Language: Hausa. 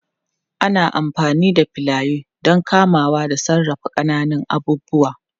Ana amfani da filaye don kamawa da sarrafa ƙananan abubuwa